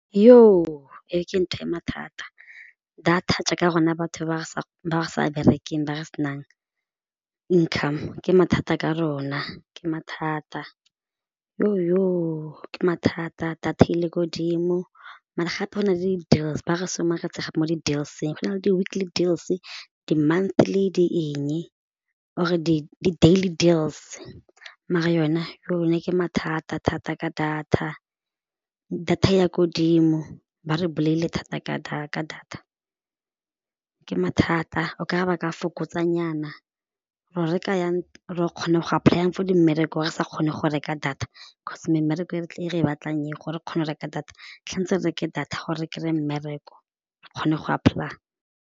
E ke ntho e mathata data jaaka rona batho ba re sa berekang ba re se nang income ke mathat ka rona, ke mathata ke mathata data e ile ko godimo maar gape go na le di-deals ba re somaretswe mo di deals-eng go na le di weekly deals di monthly di eng or-e di daily deals maar yona yo yone ke mathata thata ka data, data ya ko godimo ba re bolaile thata ka data ke mathata o ka re ba ka fokotsanyana ro reka yang ro kgona go apply-a yang for di mmereko re sa kgone go reka data cause me mmereko e re e batlang e gore kgone reka data re reke data gore re kry-e mmereko re kgone go apply.